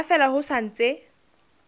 ha fela ho sa ntse